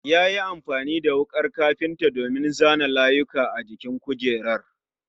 Yayi amfani da wukar kafinta domin zana layuka a jikin kujerar